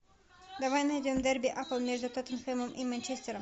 давай найдем дерби апл между тоттенхэмом и манчестером